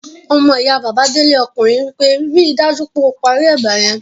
Ọmọyá Bàbá Délé ọkùnrin wí pé 'ri dájú pé o parí ẹ̀bà yẹn'